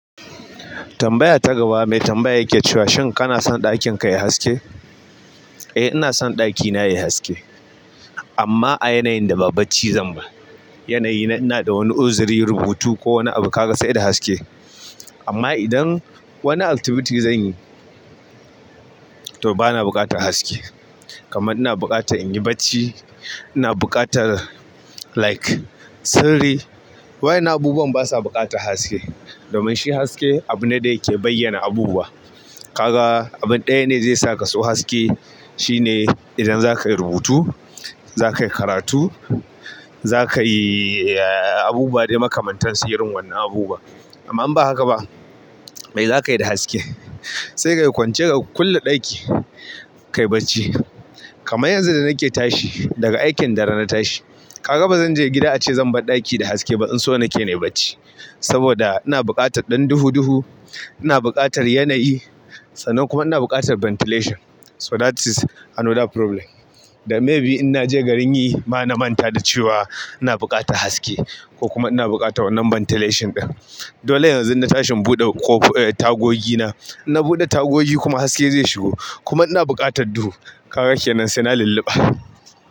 Tambaya ta gaba mai tambaya yake cewa, "Shin kana son ɗakin ka ya yi haske?" Eh, ina son ɗakina ya yi haske amma a yanayin da ba bacci zan ba. Yanayi ina da wani uzuri, rubutu ko wani abu kaga sai da haske. Amma idan wani activity zan yi to bana buƙatar haske. Kaman ina buƙatan in yi bacci, ina buƙatar like sirri. Wa'innan abubuwan basa buƙatar haske. Domin shi haske abu ne da yake bayyana abubuwa. Kaga abin ɗaya ne zai saka so haske shine idan za ka yi rubutu, za ka yi karatu, za ka yi abubuwa da makamantan su irin wa'annan abubuwa. Amma in ba haka ba, me za ka yi da haske? Sai ka yi kwance ka kulle ɗaki, ka yi bacci. Kamar yanzu da nake tashi daga aikin dare na tashi, kaga bazan je gida ace zan bar ɗaki da haske ba. Dan so nake na yi bacci saboda ina buƙatar ɗan duhu duhu, ina buƙatar yanayi sannan kuma ina buƙatar ventilation. So that is another problem. Da maybe in naje garin yi, ma na manta da cewa ina buƙatar haske ko kuma ina buƙatar wannan ventilation ɗin. Dole yanzu na tashi in buɗe ko tagogi na. Na buɗe tagogi kuma haske zai shigo. Kuma ina buƙatar duhu. Kaga kenan sai na yi lulluɓa.